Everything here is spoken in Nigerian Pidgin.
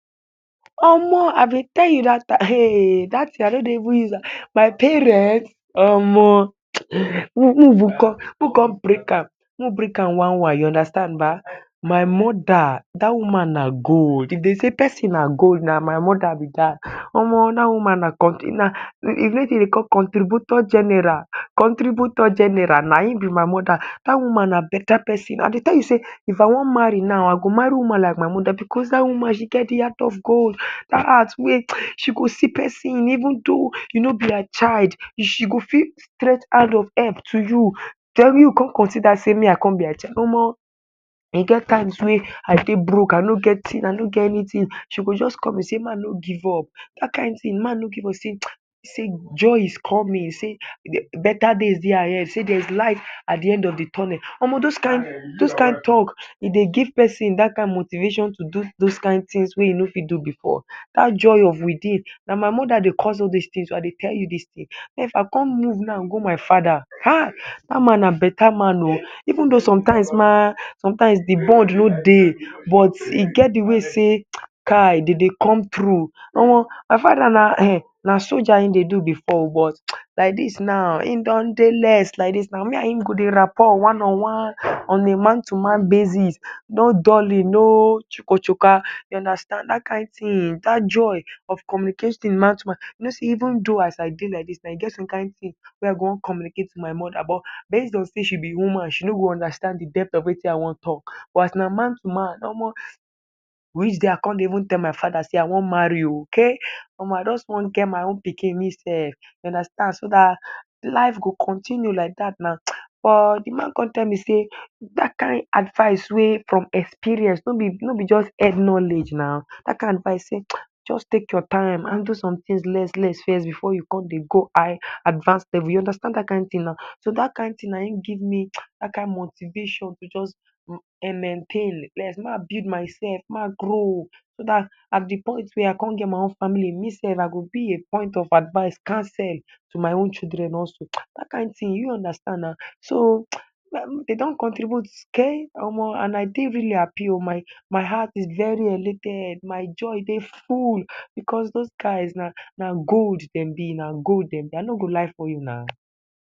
Omo! I dey tell you dat time. Hey! Dat tin I no even use am… my parent omo! Who… may we break am one one. You understand ba! My Moda — dat one na gold. If dem say pesin na gold, na my Moda be dat. Omo! Dat woman na contributor general. Contributor general — na him be my Moda. Dat woman na beta pesin. I dey tell you say, if I wan marry now, I go marry woman like my Moda because dat woman she get de heart of gold. Dat heart wey, she go see pesin [hisses] even though you no be her child, she go fit stretch hand of help to you. Den you con consider say me I con be her child — omo! E get times wey I dey broke. I no get anything, she go just call me say may I no give up. Dat kin tin — “may I no give up”, say… joy is coming. Say beta days dey ahead. Say there is light at de end of de tunnel. Omo! Dem kin talk — e dey give pesin dat kin motivation to do dem kin tins wey you no fit do before. Dat joy from within — na my Moda dey cause all dis tin. I dey tell you dis tin. If I con move now go my Fada, hey! Dat man na beta man oh! Even though sometimes ma, sometimes de no dey. But e get de way say, kai! E dey come through — omo! My Fada, na Soja e dey do before, but like dis na, e dey less like dis. Me and him go dey rapport one on one. On a man-to-man basis. No dulling, no chuku chuka. Dat kin tin. Dat kin joy of communicating man to man. Even though as I dey like dis, e get some kin tin wey I wan communicate with my Moda, but based on say she be woman, she no go understand de depth of wetin I wan talk. But as na man to man — omo! Which day I con dey even tell my Fada say I wan marry oh! Kai! Omo! I just wan get my own pikin me sef. You understand, so dat life go continue like dat. But de man con tell me say — dat kin advice wey e be from experience no be just head knowledge na. Dat kin advice say, just take your time, handle somethings less less fes before you go con high advance level. You understand dat kin of tin? Dat kin tin na him give me dat kin motivation to just maintain may I build myself. May I grow so dat at de point wey I con get my own family, me sef I go be a point of advice, counsel to my own children also. Dat kin tin, you understand na? So, dem don contribute. Kai! Omo! And I dey really happy oh! My heart is very elated. My joy dey full because dem guys — na gold dem be. Na gold dem be. I no go lie for you na.